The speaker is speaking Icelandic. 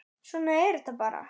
Svona er þetta bara.